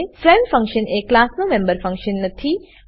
friend function એ ક્લાસનો member function નથી